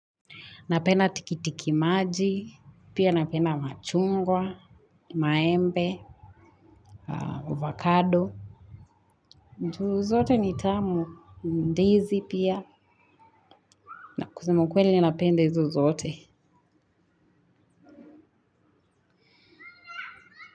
Napenda tiki tiki maji, pia napenda machungwa, maembe, avocado. Juu zote ni tamu ndizi pia na kusema ukweli napende hizo zote.